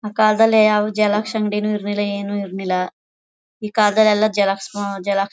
ಆ ಕಾಲದಲ್ಲಿ ಯಾವ ಜೆರಾಕ್ಸ್ ಅಂಗಡಿನೂ ಇರಲಿಲ್ಲ ಏನು ಇರ್ಲಿಲ್ಲ. ಈ ಕಾಲದಲ್ಲಿ ಎಲ್ಲ ಜೆರಾಕ್ಸ್ ಉ ಜೆರಾಕ್ಸ್ --